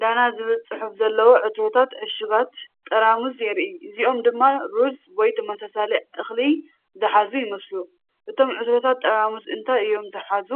ዳና" ዝብል ጽሑፍ ዘለዎም ዕትሮታት/ዕሹጋት ጠራሙዝ የርኢ፣ እዚኦም ድማ ሩዝ (ወይ ተመሳሳሊ እኽሊ) ዝሓዙ ይመስሉ። እቶም ዕትሮታት ጠራሙዝ እንታይ እዮም ዝሓዙ